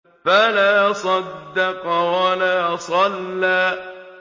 فَلَا صَدَّقَ وَلَا صَلَّىٰ